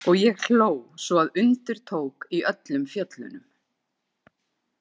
Og ég hló svo að undir tók í öllum fjöllunum.